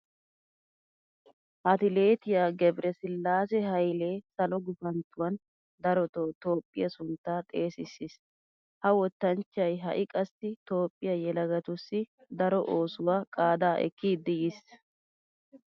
Atileetiya Gebresillaase Haylee salo gufanttuwan darotoo toophphiya sunttaa xeesissiis. Ha wottanchchay ha"i qassi toophphiya yelagatussi daro oosuwa qaadaa ekkidi yiis.